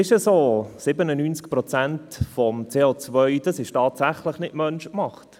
97 Prozent des CO wird nicht vom Menschen gemacht.